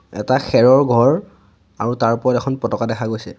এটা খেৰৰ ঘৰ আৰু তাৰ ওপৰত এখন পতকা দেখা গৈছে।